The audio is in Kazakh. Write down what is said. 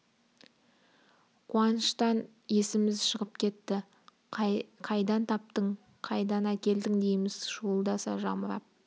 қуаныштан есіміз шығып кетті қайдан таптың қайдан әкелдің дейміз шуылдаса жамырап